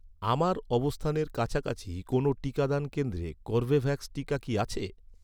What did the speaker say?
আমার অবস্থানের কাছাকাছি কোনও টিকাদান কেন্দ্রে কর্বেভ্যাক্স টিকা কি আছে?